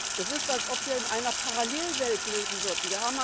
Es ist, als ob wir in einer Parallelwelt leben würden.